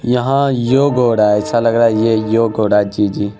यहाँ योग हो रहा ऐसा लग रा है यह योग हो रहा है जी-जी।